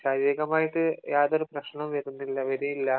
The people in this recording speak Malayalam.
ശാരീരികമായിട്ട് യാതൊരു പ്രശ്നവും വരുന്നില്ല വരെയുമില്ല